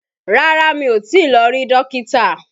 Rárá, mi ò tí lọ rí Dókítà